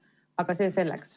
Aga see selleks.